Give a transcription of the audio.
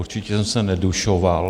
Určitě jsem se nedušoval.